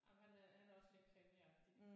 Jamen han øh han er også mere krimi-agtig